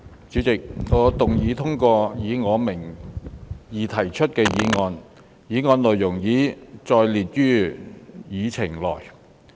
主席，我動議通過以我名義提出的議案，議案內容已載列於議程內。